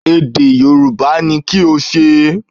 Èdè Yorùbá ni kí o ṣe